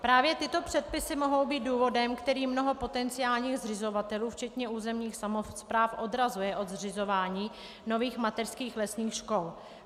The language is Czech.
Právě tyto předpisy mohou být důvodem, který mnoho potenciálních zřizovatelů, včetně územních samospráv, odrazuje od zřizování nových mateřských lesních škol.